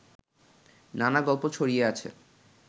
নানা গল্প ছড়িয়ে আছে